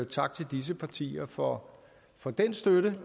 tak til disse partier for for den støtte